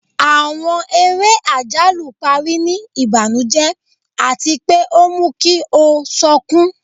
Àwọn eré ajalu pari ni ibanujẹ ati pe o mu ki o sọkun